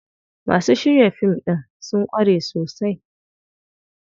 Masu shirya fim ɗin sun ƙware sosai.